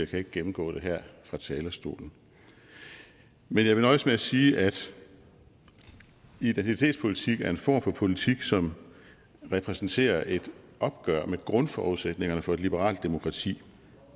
kan ikke gennemgå det her fra talerstolen men jeg vil nøjes med at sige at identitetspolitik er en form for politik som repræsenterer et opgør med grundforudsætningerne for et liberalt demokrati